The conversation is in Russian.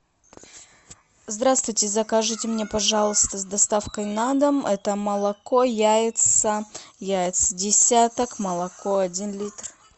здравствуйте закажите мне пожалуйста с доставкой на дом это молоко яйца яйца десяток молоко один литр